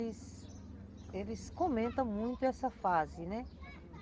Eles, eles comentam muito essa fase, né?